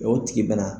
O tigi bɛna